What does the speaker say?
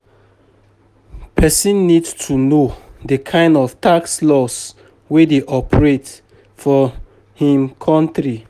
Person need to know di kind of tax laws wey dey operate for im country